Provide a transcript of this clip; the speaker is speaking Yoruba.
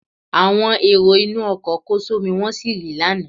Àwọn èrò inú ọkọ̀ kó só mí wọ́n sì rì lánàá.